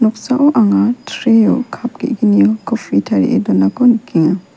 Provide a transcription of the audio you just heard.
noksao anga tray -o kap ge·gnio kofI tarie donako nikenga.